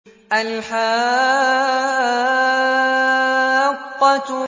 الْحَاقَّةُ